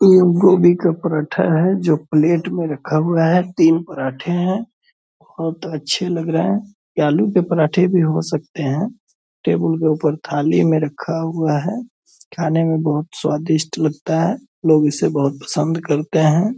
ये गोभी का परांठा है जो प्लेट में रखा हुआ है। तीन परांठे हैं बहुत अच्छे लग रहें हैं। यह आलू के परांठे भी हो सकते हैं टेबल के ऊपर थाली में रखा हुआ है। खाने में बहुत स्वादिष्ट लगता है। लोग इसे बहुत पसंद करते हैं।